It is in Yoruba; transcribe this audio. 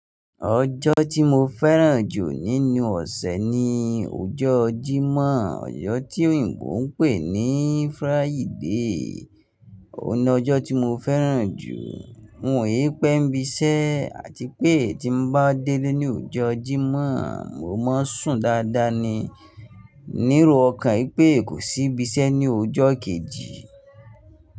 Ọjọ́ tí mo fẹ́ràn jù nínú ọ̀sẹ̀ ni ọjọ́ Jímọ̀, ọjọ́ tí Òyìnbó ń pè ní Friday. Óhun ni ọjọ́ tí mo fẹ́ràn jù. Mò ń pẹ́ bí iṣẹ́ àti pé tí mo bá délé ní ọjọ́ Jímọ̀, mo máa sùn dáadáa ni. Ní ero ọkàn pé kò sí ibi iṣẹ́ ní ọjọ́ kejì.